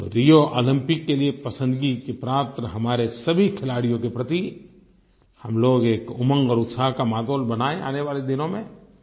तो Rio Olympic के लिए पसंदगी के पात्र हमारे सभी खिलाड़ियों के प्रति हम लोग एक उमंग और उत्साह का माहौल बनाएँ आने वाले दिनों में